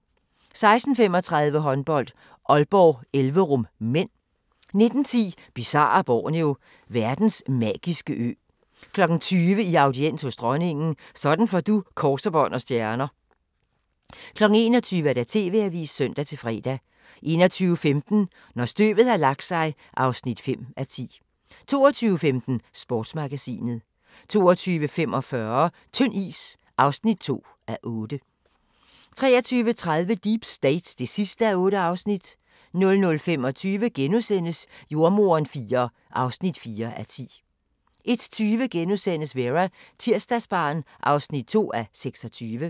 16:35: Håndbold: Aalborg-Elverum (m) 19:10: Bizarre Borneo: Verdens magiske ø 20:00: I audiens hos dronningen – sådan får du kors, bånd og stjerner 21:00: TV-avisen (søn-fre) 21:15: Når støvet har lagt sig (5:10) 22:15: Sportsmagasinet 22:45: Tynd is (2:8) 23:30: Deep State (8:8) 00:25: Jordemoderen IV (4:10)* 01:20: Vera: Tirsdagsbarn (2:26)*